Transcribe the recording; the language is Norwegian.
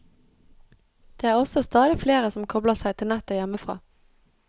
Det er også stadig flere som kobler seg til nettet hjemmefra.